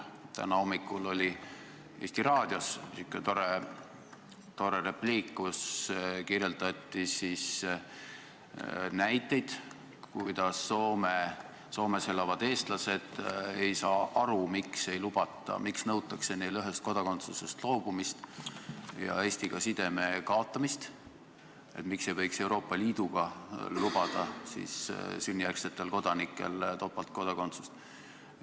Täna hommikul oli raadios sihuke tore repliik, milles kirjeldati, kuidas Soomes elavad eestlased ei saa aru, miks neilt nõutakse ühest kodakondsusest loobumist ja Eestiga sideme kaotamist ja et miks ei võiks Euroopa Liidu riikides lubada sünnijärgsetele kodanikele topeltkodakondsust.